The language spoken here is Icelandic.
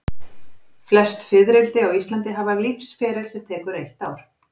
Flest fiðrildi á Íslandi hafa lífsferil sem tekur eitt ár.